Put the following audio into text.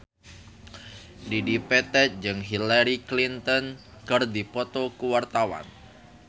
Dedi Petet jeung Hillary Clinton keur dipoto ku wartawan